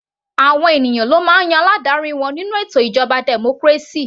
Àwọn ènìyàn ló máa ń yan aládarí wọn nínú ètò ìjọba democracy.